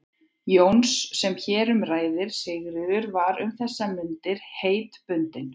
Jóns sem hér um ræðir, Sigríður, var um þessar mundir heitbundin